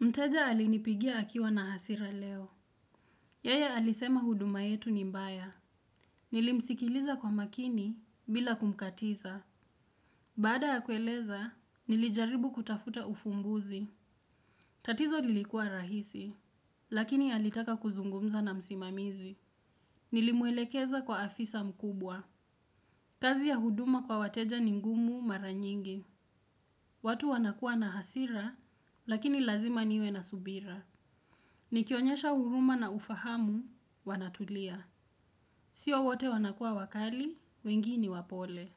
Mteja alinipigia akiwa na hasira leo. Yaye alisema huduma yetu ni mbaya. Nilimsikiliza kwa makini bila kumkatiza. Baada ya kueleza nilijaribu kutafuta ufumbuzi. Tatizo lilikuwa rahisi lakini alitaka kuzungumza na msimamizi. Nilimwelekeza kwa afisa mkubwa. Kazi ya huduma kwa wateja ni ngumu mara nyingi. Watu wanakuwa na hasira lakini lazima niwe na subira. Nikionyesha huruma na ufahamu, wanatulia. Sio wote wanakua wakali wengine ni wapole.